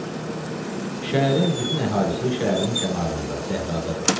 Şəhərin bütün əhalisi şəhərin kənarında, səhradadır.